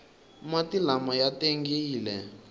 mati lama ya tengile